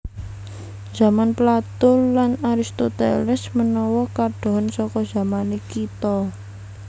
Zaman Plato lan Aristoteles menawa kadohen saka zamané kita